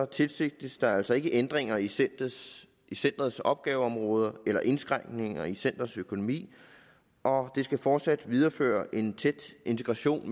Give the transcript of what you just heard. tilsigtes der altså ikke ændringer i centerets centerets opgaveområder eller indskrænkninger i centerets økonomi og det skal fortsat videreføre en tæt integration